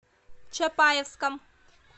чапаевском